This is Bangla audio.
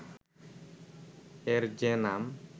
এর যে নাম